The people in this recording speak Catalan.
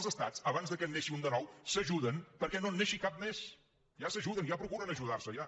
els estats abans que en neixi un de nou s’ajuden perquè no en neixi cap més ja s’ajuden ja procuren ajudarse ja